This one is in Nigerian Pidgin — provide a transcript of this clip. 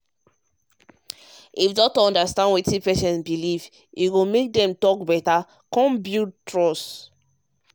if doctor understand wetin patient believe e go make dem talk better and build trust.